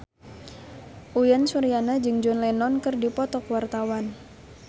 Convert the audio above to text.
Uyan Suryana jeung John Lennon keur dipoto ku wartawan